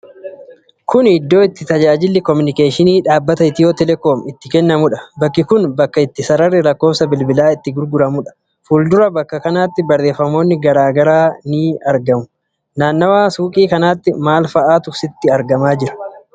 Kun iddoo itti tajaajilli kominikeeshinii dhaabbata Itiyootelekoom itti kennamudha. Bakki kun bakka itti sararri lakkoofsa bilbilaa itti gurguramudha. Fuuldura bakka kanaatti barreefamoonni garaa garaa ni argamu. Naannawa suuqii kanaatti maal faa'atu argama?